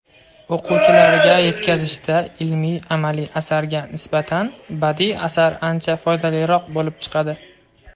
o‘quvchilarga yetkazishda ilmiy-amaliy asarga nisbatan badiiy asar ancha foydaliroq bo‘lib chiqadi.